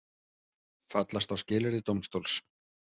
Fallast á skilyrði dómstóls